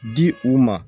Di u ma